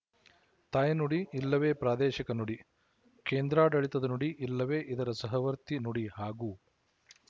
ತಾಯ್ನುಡಿ ಇಲ್ಲವೇ ಪ್ರಾದೇಶಿಕ ನುಡಿ ಕೇಂದ್ರಾಡಳಿತದ ನುಡಿ ಇಲ್ಲವೇ ಇದರ ಸಹವರ್ತಿ ನುಡಿ ಹಾಗೂ